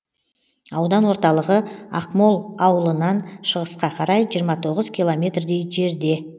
аудан орталығы ақмол ауылынан шығысқа қарай жиырма тоғыз километрдей жерде